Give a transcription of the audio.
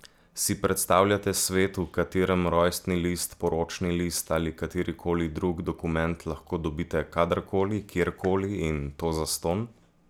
Si predstavljate svet, v katerem rojstni list, poročni list, ali katerikoli drug dokument lahko dobite kadarkoli, kjerkoli in to zastonj?